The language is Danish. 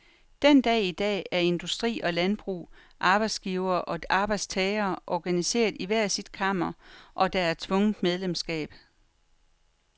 Den dag i dag er industri og landbrug, arbejdsgivere og arbejdstagere organiseret i hver sit kammer, og der er tvungent medlemsskab.